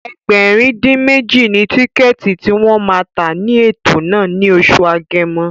Ẹgbẹ̀rin-dín-méjì ni tíkẹ̀ẹ̀tì tí wọ́n ma tà ní ètò náà ní oṣù Agẹmọ